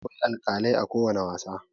Akwai alkalai a kowani wasa.